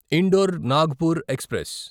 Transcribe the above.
indoor Nagpur express